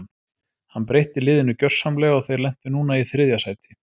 Hann breytti liðinu gjörsamlega og þeir lentu núna í þriðja sæti.